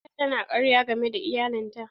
Fatima ta na karya game da iyalin ta.